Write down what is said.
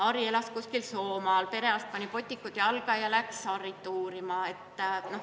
Harri elab kuskil Soomaal, perearst pani botikud jalga ja läks Harrit uurima.